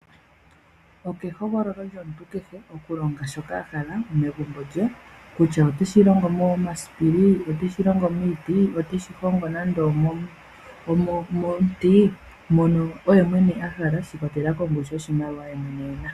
Okehogololo lyomuntu kehe oku longa shoka ahala megumbo lye . Kutya oteshi longo momasipili oteshi longo miiti. Oteshi hongo nando omomuti mpono oye mwene ahala shiikwatelela kongushu yoshimaliwa yemwene ena.